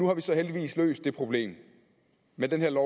har vi så heldigvis løst det problem med det her